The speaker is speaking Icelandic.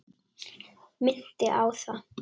Minnti á það.